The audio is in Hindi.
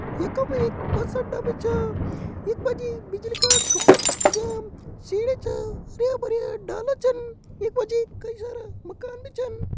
यख मा एक बस अड्डा भी छा यख मा जी बिजली का खम्बा छन लग्यां सीढ़ी छा हरयां भरयां डाला छन यख मा जी कई सारा मकान भी छन।